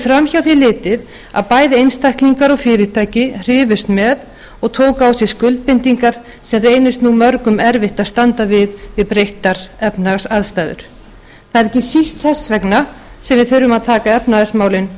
framhjá því litið að bæði einstaklingar og fyrirtæki hrifust með og tóku á sig skuldbindingar sem reynist nú mörgum að standa við við breyttar efnahagsaðstæður það er ekki síst þess vegna sem við þurfum að taka efnahagsmálin